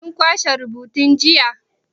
Kin kwashe rubutun jiya?